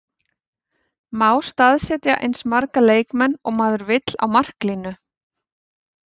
Má staðsetja eins marga leikmenn og maður vill á marklínu?